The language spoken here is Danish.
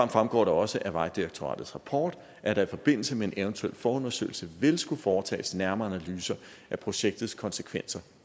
fremgår også af vejdirektoratets rapport at der i forbindelse med en eventuel forundersøgelse vil skulle foretages nærmere analyser af projektets konsekvenser